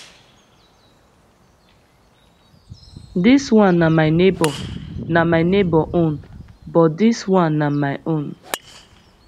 dis one na my neighbor na my neighbor own but dis one na my own